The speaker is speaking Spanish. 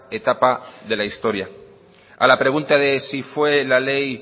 etapa de la historia a la pregunta de si fue la ley